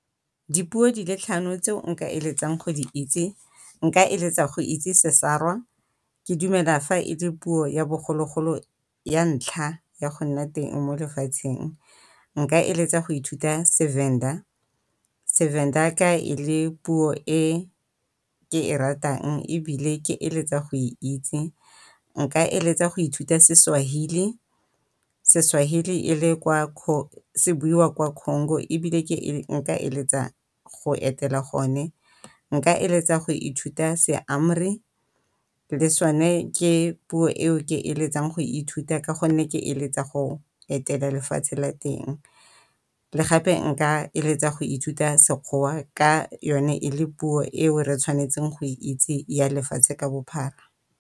Dipuo di le tlhano tseo nka eletsang go di itse nka eletsa go itse Sesarwa ke dumela fa e le puo ya bogologolo ya ntlha ya go nna teng mo lefatsheng. Nka eletsa go ithuta seVenda, seVenda ka e le puo e ke e ratang ebile ke eletsa go e itse. Nka eletsa go ithuta seSwahili, seSwahili e le kwa se buiwa kwa Congo ebile ke nka eletsa go etela gone. Nka eletsa go ithuta se le sone ke puo eo ke eletsang go ithuta ka gonne ke eletsa lefatshe la teng. Le gape nka eletsa go ithuta Sekgowa ka yone e le puo eo re tshwanetseng go e itse ya lefatshe ka bophara.